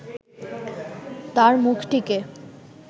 তাঁর মুখটিকে